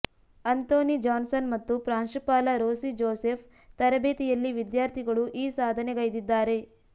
Anthony Johnson ಮತ್ತು ಪ್ರಾಂಶುಪಾಲ Rosy Joseph ತರಬೇತಿಯಲ್ಲಿ ವಿದ್ಯಾರ್ಥಿಗಳು ಈ ಸಾಧನೆಗೈದ್ದಿದ್ದಾರೆ